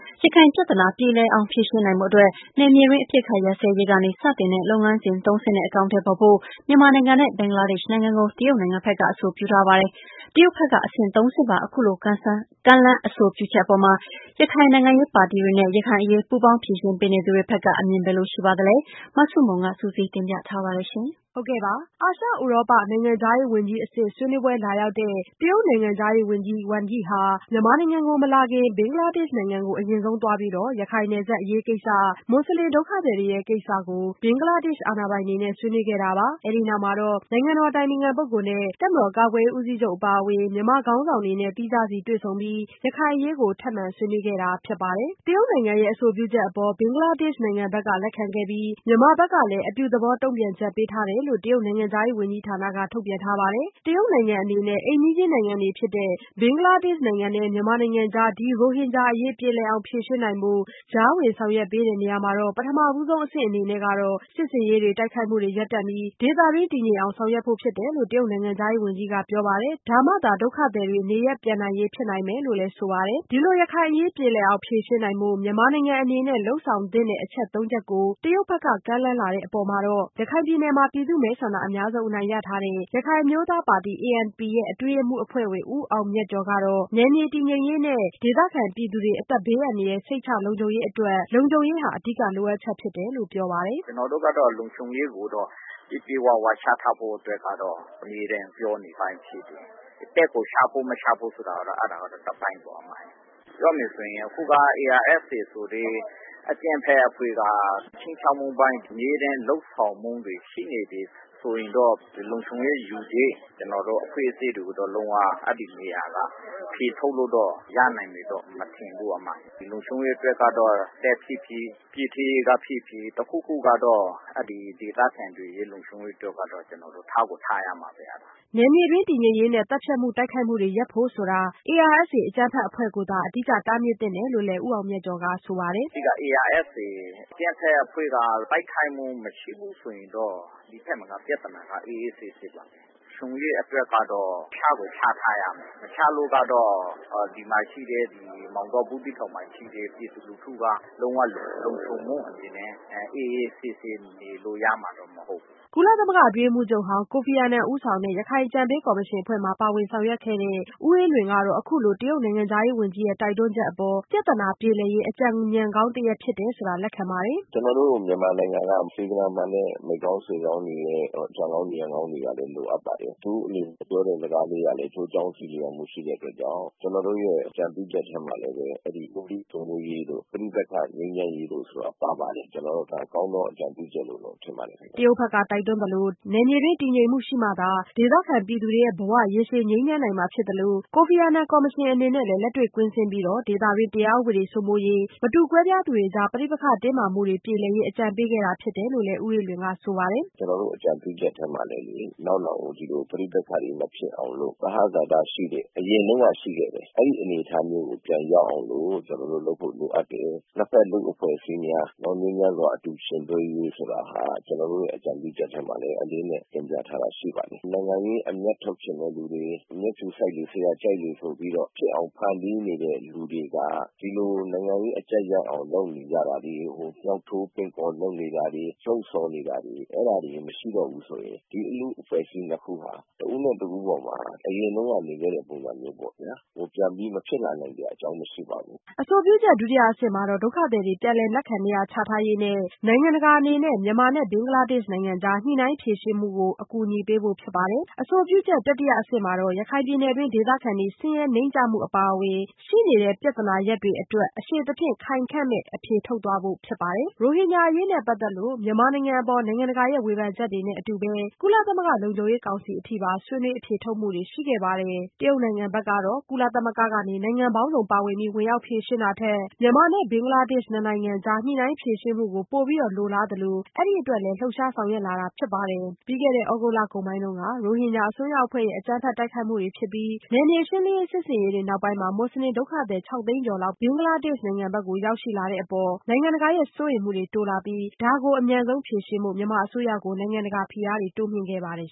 ရခိုင်ပြဿနာ ပြေလည်အောင်ဖြေရှင်းနိုင်ဖို့အတွက် နယ်မြေတွင်း အပစ်ခတ်ရပ်စဲရေးကနေ စတင်တဲ့ လုပ်ငန်းစဉ်သုံးဆင့်နဲ့ အကောင်အထည်ဖော်ဖို့ မြန်မာနိုင်ငံနဲ့ ဘင်္ဂလားဒေ့ရ်ှနိုင်ငံကို တရုတ်နိုင်ငံဘက်က အဆိုပြုထားပါတယ်။ တရုတ်ဘက်က အဆင့်သုံးဆင့်ပါ အခုလို ကမ်းလှမ်းအဆိုပြုချက်အပေါ်မှာ ရခိုင်နိုင်ငံရေးပါတီတွေ နဲ့ ရခိုင်အရေး ပူးပေါင်းဖြေရှင်းပေးနေသူတွေဘက်က အမြင်ဘယ်လိုရှိပါသလဲ။ မဆုမွန် စုစည်းတင်ပြထားပါတယ်။ အာရှ ဥရောပ နိုင်ငံခြားရေးဝန်ကြီးအဆင့် ဆွေးနွေးပွဲလာရောက်တဲ့ တရုတ်နိုင်ငံခြားရေးဝန်ကြီး ဝမ်ယိဟာ မြန်မာနိုင်ငံကို မလာခင်၊ ဘင်္ဂလားဒေ့ရ်ှနိုင်ငံကို အရင်ဆုံးသွားပြီး ရခိုင်နယ်စပ်အရေးကိစ္စ မွတ်ဆလင်ဒုက္ခသည်တွေကိစ္စကို ဘင်္ဂလားဒေရ်ှ အာဏာပိုင်တွေ နဲ့ ဆွေးနွေးခဲ့တာပါ။ ဒီနောက်တော့ နိုင်ငံတော်အတိုင်ပင်ခံပုဂ္ဂိုလ်နဲ့ တပ်မတော်ကာကွယ်ရေး ဦးစီးချုပ်အပါအဝင် မြန်မာခေါင်းဆောင်တွေနဲ့ သီးခြားစီ တွေ့ဆုံပြီး ရခိုင်အရေး ထပ်မံဆွေးနွေးခဲ့တာဖြစ်ပါတယ်။ တရုတ် နိုင်ငံရဲ့ အဆိုပြုချက်အပေါ် ဘင်္ဂလားဒေ့ရ်ှနိုင်ငံဘက်က လက်ခံခဲ့ပြီး၊ မြန်မာဘက်ကလည်း အပြုသဘောတုန့်ပြန်ချက်ပေးထားတယ်လို့ တရုတ်နိုင်ငံခြားရေးဝန်ကြီးဌာနက ထုတ်ပြန်ထားပါတယ်။ တရုတ်နိုင်ငံအနေနဲ့ အိမ်နီးချင်းနိုင်ငံတွေဖြစ်တဲ့ ဘင်္ဂလားဒေ့ရှ်နိုင်ငံနဲ့မြန်မာနိုင်ငံကြား ဒီရိုဟင်ဂျာအရေး ပြေလည်အောင် ဖြေရှင်းနိုင်ဖို့ ကြားဝင်ဆောင်ရွက်ပေးနေရာမှာ ပထမဆုံးအဆင့်အနေနဲ့ကတော့ စစ်ဆင်ရေးတွေ တိုက်ခိုက်မှုတွေကို ရပ်တန့်ပြီး ဒေသတွင်း တည်ငြိမ်အောင်ဆောင်ရွက်ဖို့ ဖြစ်တယ်လို့ တရုတ်နိုင်ငံခြားရေးဝန်ကြီးက ပြောပါတယ်။ ဒါမှသာ ဒုက္ခသည်တွေ နေရပ်ပြန်နိုင်ရေးဖြစ်နိုင်မယ်လို့လည်းဆိုပါတယ်။ ဒီလို ရခိုင်အရေးပြေလည်အောင် ဖြေရှင်းနိုင်ဖို့ မြန်မာနိုင်ငံအနေနဲ့ လုပ်ဆောင်သင့်တဲ့ အချက်သုံးချက်ကို တရုတ်ဘက်က ကမ်းလှမ်းလာတဲ့အပေါ် ရခိုင်ပြည်နယ်မှာ ပြည်သူ့မဲဆန္ဒအများဆုံးအနိုင်ရထားတဲ့ ရခိုင်အမျိုးသားပါတီ ANP ရဲ့ အတွင်းရေးမှူးအဖွဲ့ဝင် ဦးအောင်မြတ်ကျော်ကတော့ နယ်မြေတည်ငြိမ်ရေးနဲ့ ဒေသခံပြည်သူတွေ အသက်ဘေးအန္တရာယ် စိတ်ချလုံခြုံရေးအတွက် လုံခြုံရေးဟာ အဓိကလိုအပ်ချက်ဖြစ်တယ်လို့ ပြောပါတယ်။ “ကျနော်တို့ကတော့ လုံခြုံရေးကိုတော့ ပြည့်ပြည့်၀၀ ချထားဖို့ကိုတော့ အမြဲတမ်းပြောနေတဲ့အပိုင်းဖြစ်တယ်။ တပ်ကို ချဖို့ မချဖို့ဆိုတာကတော့ တပိုင်းပေါ့နော် ။ ပြောမယ်ဆိုရင် အခုက ARSA ဆိုတဲ့ အကြမ်းဖက်အဖွဲ့က ခြိမ်းခြောက်မှုအပိုင်း အမြဲတမ်း လုပ်ဆောင်မှုတွေ ရှိနေတယ်ဆိုရင်တော့ လုံခြုံရေးယူတဲ့ ကျနော်တို့ အဖွဲ့အစည်းတွေကိုတော့ လုံးဝအဲဒီနေရာကနေ ဖယ်ထုတ်လို့တော့ ရမယ်မထင်ဘူး အမရယ်။ ဒီလုံခြုံရေးကိုတော့ တပ်ဖြစ်ဖြစ် ၊ ပြည်ထဲရေးက ဖြစ်ဖြစ် တခုခုကတော့ ဒေသခံတွေရဲ့ လုံခြုံရေးအတွက်ကတော့ ကျနော်တို့ ထားကို ထားရမှာပဲ။” နယ်မြေအတွင်း တည်ငြိမ်ရေးနဲ့ သတ်ဖြတ်မှု ၊ တိုက်ခိုက်မှုတွေ ရပ်ဖို့ဆိုတာက ARSA အကြမ်းဖက်အဖွဲ့ကိုသာ အဓိက တားမြစ်သင့်တယ်လို့ ဦးအောင်မြတ်ကျော်ကဆိုပါတယ်။ “အဓိက ARSA အကြမ်းဖက်အဖွဲ့က ရခိုင်မှာ မရှိဘူးဆိုရင်တော့ ဒီပြဿနာက အေးအေးဆေးဆေးပါ။ လုံခြုံရေးအတွက်ကတော့ ချကိုချထားရမယ်။ မချလို့ကတော့ ဒီမှာရှိတဲ့ မောင်တော၊ ဘူးသီးတောင်မှာ ရှိတဲ့ ပြည်သူလူထုက လုံး၀ လုံခြုံမှု အနေနဲ့ အေးအေးဆေးဆေးနေလို့ရမှာ မဟုတ်ဘူး။” ကုလသမဂ္ဂအတွင်းရေးမှူးချုပ်ဟောင်း ကိုဖီအာနန်ဦးဆောင်တဲ့ ရခိုင်အကြံပေးကော်မရှင်အဖွဲ့မှာ ပါဝင်ဆောင်ရွက်ခဲ့တဲ့ ဦးအေးလွင်က အခုလို တရုတ်နိုင်ငံခြားရေးဝန်ကြီးရဲ့တိုက်တွန်းချက်အပေါ် ပြဿနာပြေလည်ရေး အကြံဉာဏ်ကောင်းတရပ်ဖြစ်တယ်လို့ လက်ခံပါတယ်။ “ကျနေ်ာတို့ မြန်မာနိုင်ငံက စေတနာမှန်တဲ့ မိတ်ကောင်းဆွေကောင်းတွေ ကတော့ အကြံကောင်း ဉာဏ်ကောင်းတွေ လိုအပ်ပါတယ်။ သူတို့အမြင်ပြောတဲ့စကားတွေကတော့ အကျိုးအကြောင်းဆီလျော်မှု ရှိတဲ့အတွက်ကြောင့် ကျနော်တို့အကြံပြုချက်ထဲမှာလည်း ဆွေးနွေးရေးတို့၊ ပဋိပက္ခငြိမ်းချမ်းရေးတို့ ပါပါတယ် ။ကျနော်တို့ကတော့ ကောင်းသော အကြံပြုချက်လို့ ထင်ပါတယ်။” တရုတ်ဘက်က တိုက်တွန်းသလို နယ်မြေတွင်း တည်ငြိမ်မှုရှိမှသာ ဒေသခံပြည်သူတွေ ဘဝ ရေရှည်အေးချမ်းနိုင်မှာဖြစ်သလို ကိုဖီအာနန်ကော်မရှင်အနေနဲ့ လည်း လက်တွေ့ကွင်းဆင်းပြီး ဒေသတွင်း တရားဥပဒေစိုးမိုးရေး မတူကွဲပြားသူတွေကြား ပဋိပက္ခတင်းမာမှုတွေ ပြေလည်ရေး အကြံပေးခဲ့တာဖြစ်တယ်လို့လည်း ဦးအေးလွင်ကဆိုပါတယ်။ “ကျနော်တို့ အကြံပြုချက်ထဲမှာလည်း နောက်နောင်ကို ဒီလို ပဋိပက္ခတွေ မဖြစ်အောင်လို့ သဟဇာတ ရှိတဲ့ အရင်တုန်းက ရှိခဲ့တယ်၊ အဲဒီအရင်အနေအထားမျိုးကို ပြန်ရောက်အောင်လို့ ကျနော်တို့ လုပ်ဖို့ လိုအပ်တယ်။ ၂ ဖက်လူ့အဖွဲ့အစည်းများ ငြိမ်းချမ်းစွာ အတူယှဉ်တွဲရေးဆိုတာဟာ ကျနော်တို့ရဲ့ အကြံပြုချက်ထဲမှာလည်း အလေးအနက်တင်ပြထားတာ ရှိပါတယ်။ နိုင်ငံရေးအမြတ်ထုတ်ချင်တဲ့ သူတွေ မျက်ဖြူဆိုက်လေ ဆရာ တို့ ကြိုက်လေ ဆိုပြီးတော့ ဖြစ်အောင် ဖန်တီးနေတဲ့ လူတွေက ဒီလို နိုင်ငံရေးအကျပ်ရအောင် လုပ်နေတာတွေကို မြောက်ထိုးပင့်ကော်လုပ်နေတာတွေ ၊ လှုံ့ဆော်နေတာတွေ အဲဒါတွေ မရှိတော့ဘူးဆိုရင် ဒီလူ့အဖွဲ့အစည်း ၂ ခု ဟာ တဦးနဲ့ တဦးပေါ်မှာ အရင်တုန်းက နေခဲ့တဲ့ ပုံစံမျိုးပေါ့ခင်ဗျ။ ပြန်ပြီး မဖြစ်လာနိုင်စရာ အကြောင်းမရှိပါဘူး။” အဆိုပြုချက် ဒုတိယအဆင့်မှာတော့ ဒုက္ခသည်တွေ ပြန်လည်လက်ခံနေရာချထားရေးနဲ့ နိုင်ငံတကာအနေနဲ့ မြန်မာနဲ့ ဘင်္ဂလားဒေရ်ှနိုင်ငံအကြား ညှိုနှိုင်းဖြေရှင်းမှုကို အကူအညီပေးဖို့ဖြစ်ပါတယ်။ အဆိုပြုချက်တတိယအဆင့်မှာတော့ ရခိုင်ပြည်နယ်တွင်း ဒေသခံတွေ ဆင်းရဲနိမ့်ကျမှုအပါအဝင် ရှိနေတဲ့ပြဿနာရပ်တွေအတွက် အရှည်သဖြင့် ခိုင်ခံမယ့် အဖြေထုတ်သွားဖို့ ဖြစ်ပါတယ်။ ရိုဟင်ဂျာအရေးကိစ္စနဲ့ပတ်သက်ပြီး မြန်မာနိုင်ငံအပေါ် နိုင်ငံတကာဝေဖန်ချက်တွေနဲ့အတူပဲ ကုလသမဂ္ဂ လုံခြုံရေးကောင်စီအထိပါ ဆွေးနွေးအဖြေထုတ်မှုတွေရှိခဲ့ပါတယ်။ တရုတ်နိုင်ငံဘက်ကတော့ ကုလသမဂ္ဂကနေ နိုင်ငံပေါင်းစုံပါဝင်ပြီး ဝင်ရောက်ဖြေရှင်းတာထက်၊ မြန်မာနဲ့ ဘင်္ဂလားဒေရ်ှနိုင်ငံ နှစ်နိုင်ငံအကြား ညှိုနှိုင်းဖြေရှင်းမှုကို ပိုပြီး လိုလားသလို အဲဒီအတွက်လည်း လှုပ်ရှားဆောင်ရွက်လာတာဖြစ်ပါတယ်။ လွန်ခဲ့တဲ့ သြဂုတ်အကုန်ပိုင်းက ရိုဟင်ဂျာအစွန်းရောက်အဖွဲ့ရဲ့ အကြမ်းဖက်တိုက်ခိုက်မှုတွေဖြစ်ပြီး၊ နယ်မြေရှင်းလင်းရေးစစ်ဆင်ရေးတွေနောက်ပိုင်း မွတ်ဆလင်ဒုက္ခသည် ခြောက်သိန်းကျော် ဘင်္ဂလားဒေရ်ှနိုင်ငံဖက်ကို ရောက်ရှိလာခဲ့ပါတယ်။ ဒီအပေါ်မှာ နိုင်ငံတကာရဲ့ စိုးရိမ်မှုတွေ တိုးလာပြီး၊ ဒါကို အမြန်ဖြေရှင်းဖို့ မြန်မာဘက်ကို နိုင်ငံတကာဖိအားတွေ တိုးမြင့်ခဲ့ပါတယ်